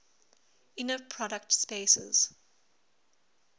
inner product spaces